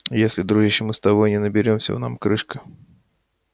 и если дружище мы с тобой не наберёмся нам крышка